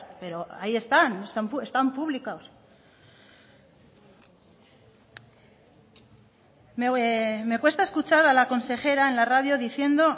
pero ahí están están publicados me cuesta escuchar a la consejera en la radio diciendo